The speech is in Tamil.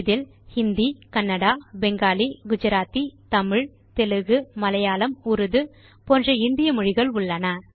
இதில் ஹிந்தி கன்னடா பெங்காலி குஜராத்தி தமிழ் தெலுகு மலையாளம் உர்டு போன்ற இந்திய மொழிகள் உள்ளன